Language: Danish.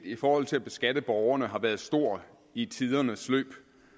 i forhold til at beskatte borgerne har været stor i tidens løb